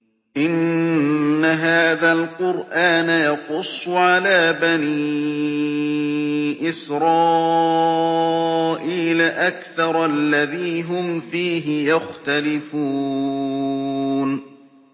إِنَّ هَٰذَا الْقُرْآنَ يَقُصُّ عَلَىٰ بَنِي إِسْرَائِيلَ أَكْثَرَ الَّذِي هُمْ فِيهِ يَخْتَلِفُونَ